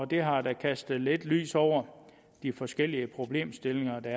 det har da kastet lidt lys over de forskellige problemstillinger der